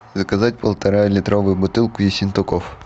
заказать полтора литровую бутылку ессентуков